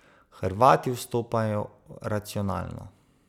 Hrvati vstopajo racionalno.